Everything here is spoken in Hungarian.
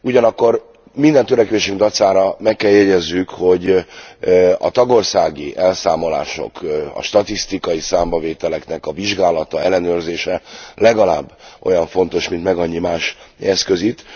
Ugyanakkor minden törekvésünk dacára meg kell jegyezzük, hogy a tagországi elszámolások, a statisztikai számbavételek vizsgálata, ellenőrzése legalább olyan fontos, mint megannyi más eszköz itt.